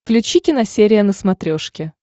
включи киносерия на смотрешке